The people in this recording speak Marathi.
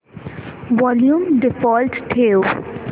वॉल्यूम डिफॉल्ट ठेव